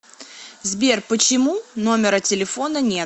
сбер почему номера телефона нет